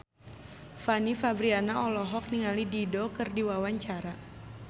Fanny Fabriana olohok ningali Dido keur diwawancara